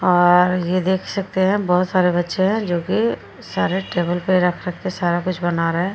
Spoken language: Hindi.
और ये देख सकते हैं। बोहोत सारे बच्चे हैं जो कि सारे टेबल पे रख-रख के सारा कुछ बना रहे हैं।